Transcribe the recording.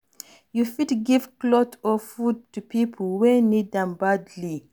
You fit give cloth or food to pipo wey need am badly